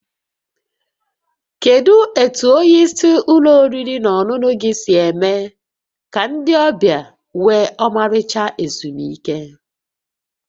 Kedu etu onye isi ụlọ oriri na ọṅụṅụ gị si eme ka ndị ọbịa nwee ọmarịcha ezumike?